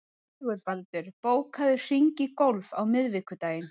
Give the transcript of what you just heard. Sigurbaldur, bókaðu hring í golf á miðvikudaginn.